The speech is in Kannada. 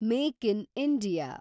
make in India